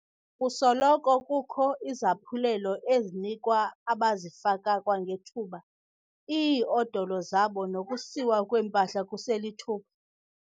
Kusoloko kukho izaphulelo ezinikwa abazifaka kwangethuba iiodolo zabo nokusiwa kwempahla kuselithuba.